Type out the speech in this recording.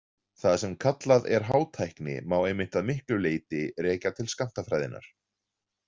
Það sem kallað er hátækni má einmitt að miklu leyti rekja til skammtafræðinnar.